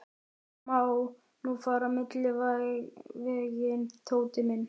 Það má nú fara milliveginn, Tóti minn.